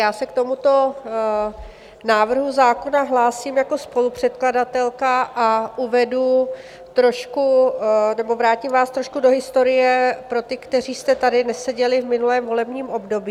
Já se k tomuto návrhu zákona hlásím jako spolupředkladatelka a uvedu trošku, nebo vrátím vás trošku do historie pro ty, kteří jste tady neseděli v minulém volebním období.